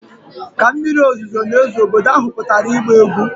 Ka mmiri ozuzo na-ezo, obodo ahụ pụtara ịgba egwu.